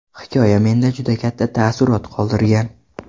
Hikoya menda juda katta taassurot qoldirgan.